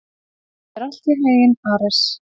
Gangi þér allt í haginn, Ares.